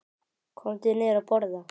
Komdu niður að borða.